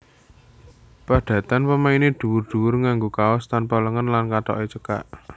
Padatan pemainé dhuwur dhuwur nganggo kaos tanpa lengen lan kathoke cekak